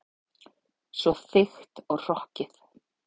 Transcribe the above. Svo þykkt og hrokkið.